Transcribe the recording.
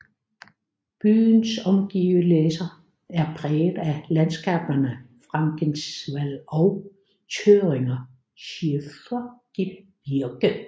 Byens omgivelæser er præget af landskaberne Frankenwald og Thüringer Schiefergebirge